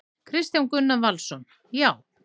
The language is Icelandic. Kristján Gunnar Valsson: Já.